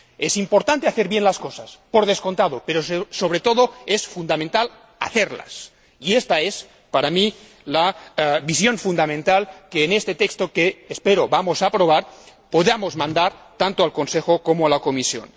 Es importante hacer bien las cosas, por descontado, pero sobre todo es fundamental hacerlas, y esta es, para mí, la visión fundamental que en este texto que ―espero― vamos a aprobar podamos mandar tanto al Consejo como a la Comisión.